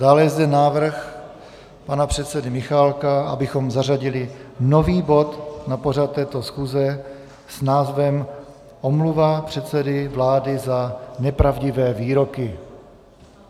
Dále je zde návrh pana předsedy Michálka, abychom zařadili nový bod na pořad této schůze s názvem Omluva předsedy vlády za nepravdivé výroky.